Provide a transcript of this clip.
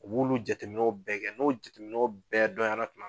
U b'olu jateminɛw bɛɛ kɛ, n'o jateminɛw bɛɛ dɔnyara tuma